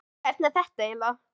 Hvernig er þetta eiginlega?